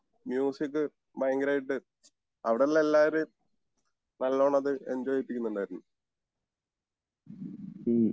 music ഭയങ്കരായിട്ട് അവിടെ ഉള്ള എല്ലാവരേം നല്ലോണം അത് എൻജോയ് ചെയ്യിപ്പിക്കുണ്ടായിരുന്നു